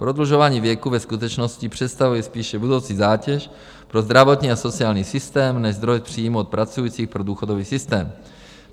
Prodlužování věku ve skutečnosti představuje spíše budoucí zátěž pro zdravotní a sociální systém než zdroj přímo od pracujících pro důchodový systém.